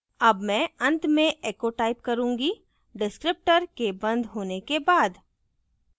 अब मैं अंत में echo type करुँगी descriptor के बंद होने के बाद